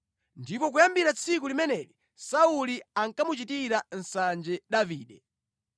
Ndipo kuyambira tsiku limeneli Sauli ankamuchitira nsanje Davide.